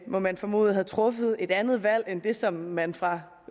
må man formode havde truffet et andet valg end det som man fra